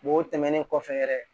o tɛmɛnen kɔfɛ yɛrɛ